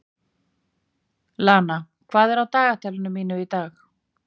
Lana, hvað er á dagatalinu mínu í dag?